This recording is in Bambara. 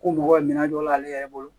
Ko mɔgɔ bɛ minɛ dɔ la ale yɛrɛ bolo